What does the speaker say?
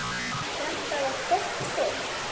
Þetta var gott fólk.